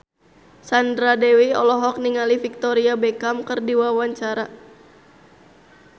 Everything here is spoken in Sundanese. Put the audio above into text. Sandra Dewi olohok ningali Victoria Beckham keur diwawancara